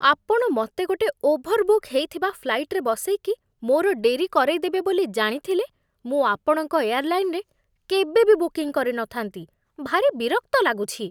ଆପଣ ମୋତେ ଗୋଟେ ଓଭରବୁକ୍ ହେଇଥିବା ଫ୍ଲାଇଟ୍‌ରେ ବସେଇକି ମୋର ଡେରି କରେଇଦେବେ ବୋଲି ଜାଣିଥିଲେ, ମୁଁ ଆପଣଙ୍କ ଏୟା‌ର୍‌ଲାଇନ୍‌ରେ କେବେ ବି ବୁକିଂ କରିନଥାନ୍ତି, ଭାରି ବିରକ୍ତ ଲାଗୁଛି ।